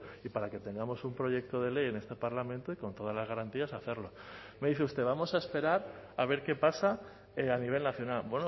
y para que tengamos un proyecto de ley en este parlamento y con todas las garantías hacerlo me dice usted vamos a esperar a ver qué pasa a nivel nacional